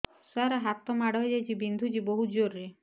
ସାର ହାତ ମାଡ଼ ହେଇଯାଇଛି ବିନ୍ଧୁଛି ବହୁତ ଜୋରରେ